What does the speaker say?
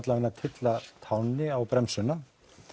tylla tánni á bremsuna